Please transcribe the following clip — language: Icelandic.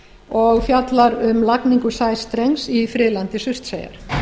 og fjallar um lagningu sæstrengs í friðlandi surtseyjar